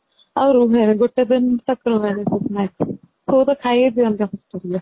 ଆଉ ରୁହେନୀ ଗୋଟେ ଦିନ ସବୁ ତ ଖାଇ ହି ଦିଅନ୍ତି hostelରେ